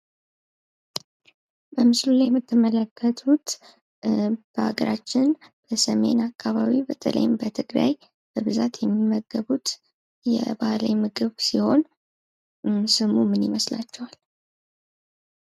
በምስሉ ላይ የምትመለከቱት በሀገራችን በሰሜን አካባቢ በተለይም በትግራይ በብዛት የሚመገቡት የባህላዊ ምግብ ሲሆን ስሙ ምን ይመስላችኋል ?